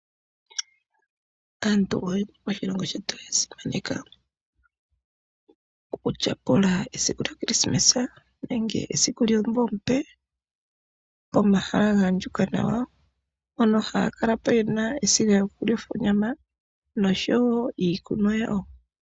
Aantu oyendji oya simaneka oku tyapula esiku lya Krismesa nenge omumvo omupe, pomahala gaandjuka nawa, mpono ha ya kala ye na po esiga lyoku yotha onyama osho woo iikunwa yawo.